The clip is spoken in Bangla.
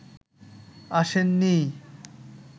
আসেন নি